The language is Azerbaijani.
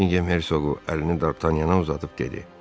Bekkingem hersoqu əlini Dartanyana uzadıb dedi.